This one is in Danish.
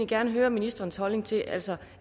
gerne høre ministerens holdning til altså